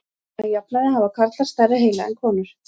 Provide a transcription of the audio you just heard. Að jafnaði hafa karlar stærri heila en konur.